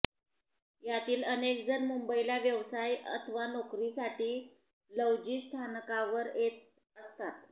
यातील अनेकजण मुंबईला व्यवसाय अथवा नोकरीसाठी लौजी स्थानकावर येत असतात